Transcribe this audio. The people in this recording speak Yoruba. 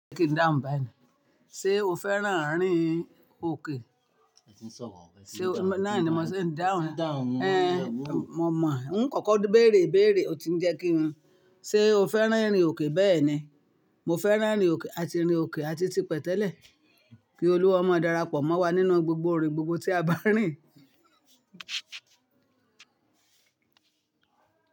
Kí n dáhùn báyii, ṣe o fẹ́ràn àárín òkè? Náà ni mo sé dáhùn. Eh mo mọ̀ ọ́, n kọ̀kọ̀ bèrè bèrè o ti ń jẹ́ kí hun. Ṣe o fẹ́ràn irín òkè? Bẹ́ẹ̀ ni, mo fẹ́ràn irín òkè a ti rìn òkè a ti ti pẹ́ tẹ́lẹ̀. Kí Olúwa maa darapọ̀ mọ́ wa nínú gbogbo irin gbogbo tí a bá rìn.